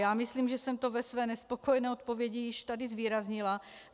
Já myslím, že jsem to ve své nespokojené odpovědi již tady zvýraznila.